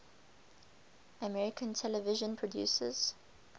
american television producers